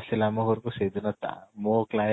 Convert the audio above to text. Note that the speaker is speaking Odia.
ଆସିଲେ ଆମ ଘରକୁ ସେଦିନ ତା ମୋ client